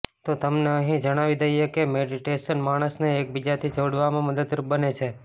તો તમને અહીં જણાવી દઇએ કે મેડિટેશન માણસને એકબીજાથી જોડવામાં મદદરૂપ બને છે